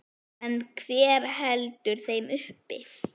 En hver heldur þeim uppi?